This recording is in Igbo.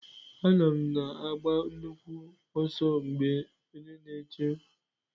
Anọ m na-agba nnukwu ọsọ mgbe onye na-eche mkpọmkpọ m ji pụọ.